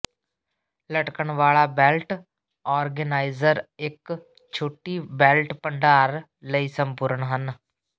ਲਟਕਣ ਵਾਲਾ belt organiser ਇੱਕ ਛੋਟੀ ਬੈਲਟ ਭੰਡਾਰ ਲਈ ਸੰਪੂਰਨ ਹੈ